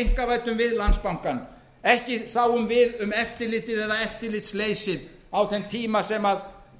einkavæddum við landsbankann ekki sáum við um eftirlitið eða eftirlitsleysið á þeim tíma sem